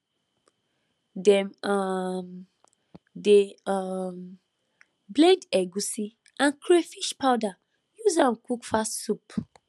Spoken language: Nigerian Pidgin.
dem um dey um blend egusi and crayfish powder use am cook fast soup